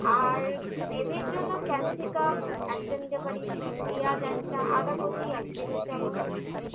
আর gravy র জন্য capsicum একটা নিতে পারিস পেঁয়াজ একটা আদা কুচি এক table চামচ